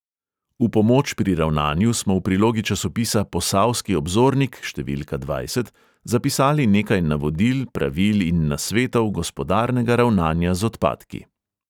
V pomoč pri ravnanju smo v prilogi časopisa posavski obzornik številka dvajset zapisali nekaj navodil, pravil in nasvetov gospodarnega ravnanja z odpadki.